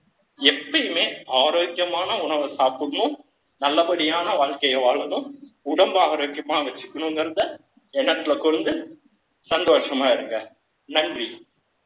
எப்பயுமே, ஆரோக்கியமான உணவை சாப்பிடணும் நல்லபடியான வாழ்க்கைய வாழனும். உடம்பு ஆரோக்கியமா வச்சுக்கணுங்கிறதை, எண்ணத்துல கொண்டு, சந்தோஷமா இருங்க. நன்றி